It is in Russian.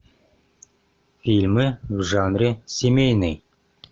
фильмы в жанре семейный